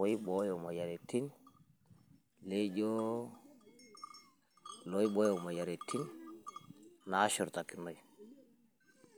oibooyu, laijo loibooyo imoyiaritin, naashurtakinoi.